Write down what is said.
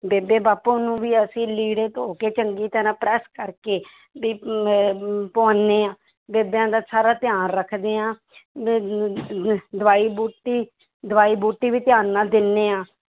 ਬੇਬੇ ਬਾਪੂ ਨੂੰ ਵੀ ਅਸੀਂ ਲੀੜੇ ਧੋ ਕੇ ਚੰਗੀ ਤਰ੍ਹਾਂ press ਕਰਕੇ ਵੀ ਅਹ ਪਵਾਉਂਦੇ ਹਾਂ ਬੇਬਿਆਂ ਦਾ ਸਾਰਾ ਧਿਆਨ ਰੱਖਦੇ ਹਾਂ ਦਵਾਈ ਬੂਟੀ ਦਵਾਈ ਬੂਟੀ ਵੀ ਧਿਆਨ ਨਾਲ ਦਿੰਦੇ ਹਾਂ।